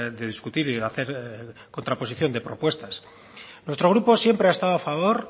de discutir y hacer contraposición de propuestas nuestro grupo siempre ha estado a favor